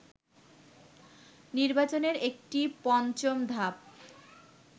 নির্বাচনের একটি পঞ্চম ধাপ